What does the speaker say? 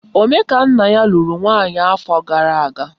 Omekannaya lụrụ nwaanyị afọ gara aga